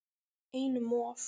Einum of